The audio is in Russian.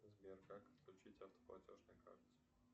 сбер как подключить автоплатеж на карте